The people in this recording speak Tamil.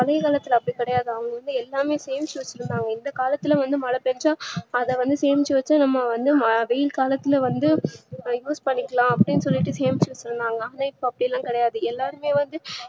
பழைய காலத்துல அப்டி கிடையாது அவங்க வந்து எல்லாமே சேமிச்சி வச்சிருந்தாங்க இந்த காலத்துல மழை பேஞ்சா அத வந்து சேமிச்சி வச்சா நம்ம வந்து வெயில் காலத்துல வந்து அத use பண்ணிகளா அப்டிண்டு சேமிச்சி வச்சிருந்தாங்க இப்ப அப்டிலா கிடையாது எல்லாருமே வந்து